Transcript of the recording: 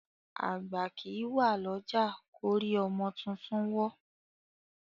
Àgbà kìí wá lọ́jà kórí ọmọ tuntun wọ́.